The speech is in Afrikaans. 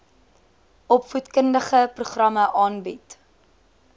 opvoedkundige programme aanbied